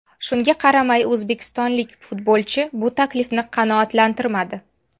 Shunga qaramay, o‘zbekistonlik futbolchi bu taklifni qanoatlantirmadi.